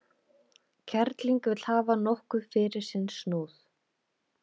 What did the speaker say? Kerling vill hafa nokkuð fyrir sinn snúð.